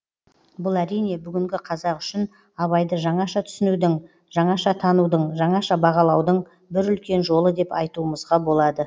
бұл әрине бүгінгі қазақ үшін абайды жаңаша түсінудің жаңаша танудың жаңаша бағалаудың бір үлкен жолы деп айтуымызға болады